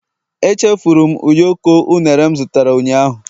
Echefuru m ụyọkọ unere m zụtara ụnyaahụ